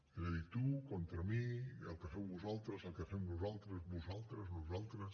és a dir tu contra mi el que feu vosaltres el que fem nosaltres vosaltres nosaltres